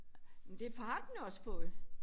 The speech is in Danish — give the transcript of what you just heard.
Men det har den også fået